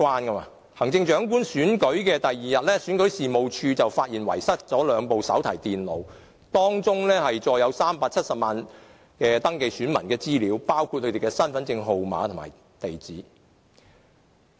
在行政長官選舉的第二天，選舉事務處發現遺失兩部手提電腦，當中載有370萬名登記選民的資料，包括他們的身份證號碼和地址。